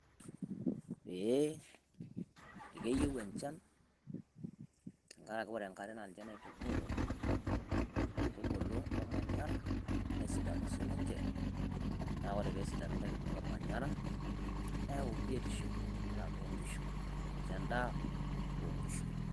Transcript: Ee keyieu enchan tenkaraki wore enkare naa ninje naitubulu nkaitubulu olmanyara nesidanu sininche naa wore pesidanu nkaitubulu omanyara naa keyauu biotisho toonkishu amu ninye endaa oonkishu